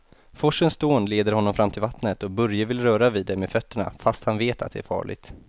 Forsens dån leder honom fram till vattnet och Börje vill röra vid det med fötterna, fast han vet att det är farligt.